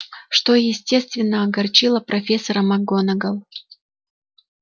что естественно огорчило профессора макгонагалл